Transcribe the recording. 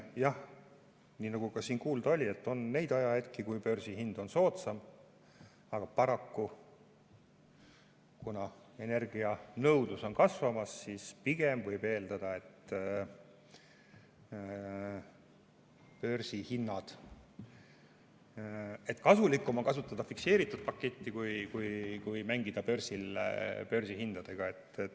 Jah, nii nagu ka siin kuulda oli, et on neid ajahetki, kui börsihind on soodsam, aga paraku, kuna energianõudlus on kasvamas, siis pigem võib eeldada, et kasulikum on kasutada fikseeritud paketti kui mängida börsil börsihindadega.